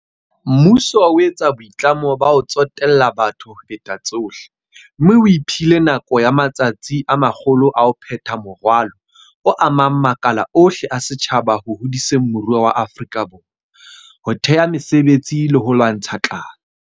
Mmuso o etsa boitlamo ba ho tsotella batho ho feta tsohle, mme o iphile nako ya matsatsi a 100 a ho phetha moralo o amang makala ohle a setjhaba ho hodiseng moruo wa Afrika Borwa, ho thea mesebetsi le ho lwantsha tlala.